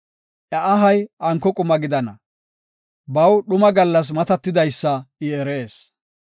Iya ahay anko quma gidana; baw dhuma gallas matatidaysa I erees.